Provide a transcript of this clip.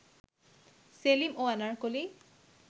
সেলিম ও আনারকলি